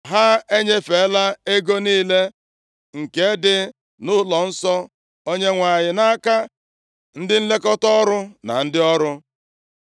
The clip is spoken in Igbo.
Ha enyefela ego niile nke dị nʼụlọnsọ Onyenwe anyị nʼaka ndị nlekọta ọrụ, na ndị ọrụ.”